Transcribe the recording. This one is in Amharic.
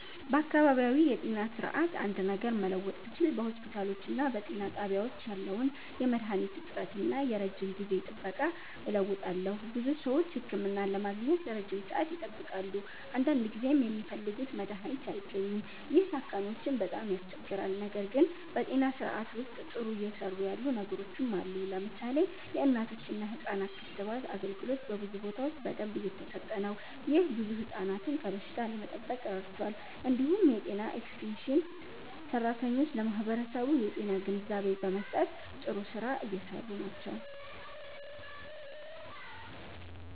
በአካባቢያዊ የጤና ስርዓት አንድ ነገር መለወጥ ብችል በሆስፒታሎችና በጤና ጣቢያዎች ያለውን የመድሃኒት እጥረት እና የረጅም ጊዜ ጥበቃ እለውጣለሁ። ብዙ ሰዎች ህክምና ለማግኘት ረጅም ሰዓት ይጠብቃሉ፣ አንዳንድ ጊዜም የሚፈልጉት መድሃኒት አይገኝም። ይህ ታካሚዎችን በጣም ያስቸግራል። ነገር ግን በጤና ስርዓቱ ውስጥ ጥሩ እየሰሩ ያሉ ነገሮችም አሉ። ለምሳሌ የእናቶችና ህፃናት ክትባት አገልግሎት በብዙ ቦታዎች በደንብ እየተሰጠ ነው። ይህ ብዙ ህፃናትን ከበሽታ ለመጠበቅ ረድቷል። እንዲሁም የጤና ኤክስቴንሽን ሰራተኞች ለማህበረሰቡ የጤና ግንዛቤ በመስጠት ጥሩ ስራ እየሰሩ ናቸው።